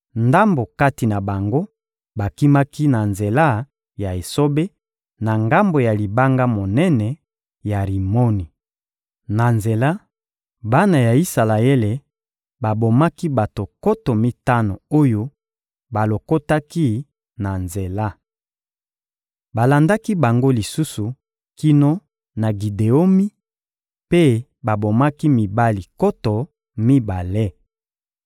Ndambo kati na bango bakimaki na nzela ya esobe, na ngambo ya libanga monene ya Rimoni. Na nzela, bana ya Isalaele babomaki bato nkoto mitano oyo balokotaki na nzela. Balandaki bango lisusu kino na Gideomi mpe babomaki mibali nkoto mibale.